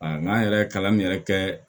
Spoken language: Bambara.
n'an yɛrɛ ye kalan min yɛrɛ kɛ